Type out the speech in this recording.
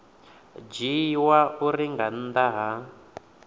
dzhiiwa uri nga nnḓa ha